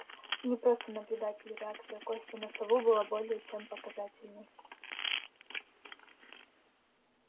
не просто наблюдатель реакция кости на сову была более чем показательной